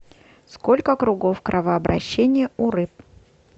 сколько кругов кровообращения у рыб